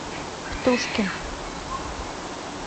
птушкин